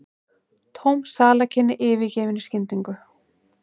Tóm salarkynni yfirgefin í skyndingu.